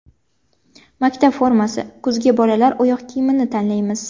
Maktab formasi: Kuzga bolalar oyoq kiyimini tanlaymiz.